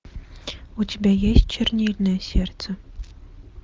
у тебя есть чернильное сердце